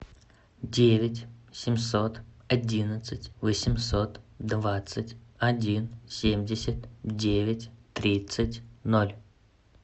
девять семьсот одиннадцать восемьсот двадцать один семьдесят девять тридцать ноль